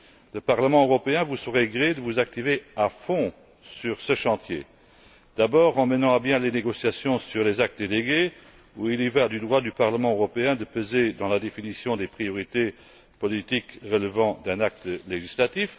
Le Parlement européen vous saurait gré de vous activer à fond sur ce chantier d'abord, en menant à bien les négociations sur les actes délégués, où il y va du droit du Parlement européen de peser dans la définition des priorités politiques relevant d'un acte législatif